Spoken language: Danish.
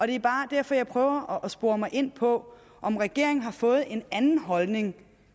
det er bare derfor jeg prøver at spore mig ind på om regeringen har fået en anden holdning